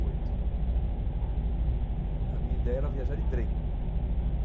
Oito. Eh, a minha ideia era viajar de trem.